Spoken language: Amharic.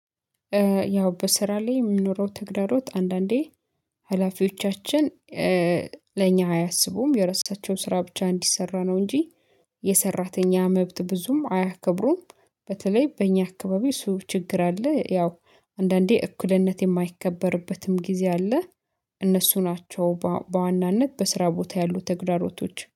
ያው በስራ ላይ የሚኖረው ትግዳሮት አንዳንዴ ሀላፊዎቻችን ለኛ አያስቡም የረሳቸው ስራ ብቻ እንዲሰራ ነው እንጂ የሰራተኛ መብት ብዙም አያከብሩም። በተለይ በእኛ አካባቢ እሱ ችግር አለ። ያው አንዳንዴ እኩልነት የማይከበርበትም ጊዜ አለ። እነሱ ናቸው በዋናነት በስራ ቦታ ያሉ ተግዳሮቶች